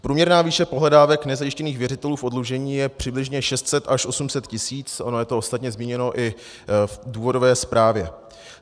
Průměrná výše pohledávek nezajištěných věřitelů v oddlužení je přibližně 600 až 800 tisíc, ono je to ostatně zmíněno i v důvodové zprávě.